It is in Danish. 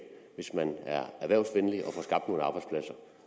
hvis man er erhvervsvenlig